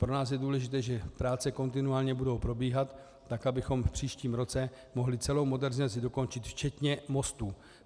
Pro nás je důležité, že práce kontinuálně budou probíhat tak, abychom v příštím roce mohli celou modernizaci dokončit včetně mostů.